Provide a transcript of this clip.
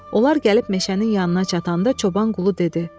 Onlar gəlib meşənin yanına çatanda çoban Qulu dedi: